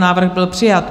Návrh byl přijat.